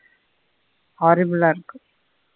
இருக்கு.